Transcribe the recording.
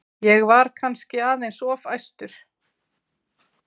Ég var kannski aðeins of æstur.